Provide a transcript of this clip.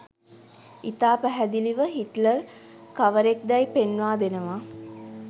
ඉතා පැහැදිලිව හිට්ලර් කවරෙක්දැයි පෙන්වා දෙනවා